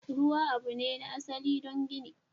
Ruwa abu ne na asali don gini.